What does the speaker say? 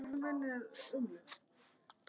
Komið með opinn hug.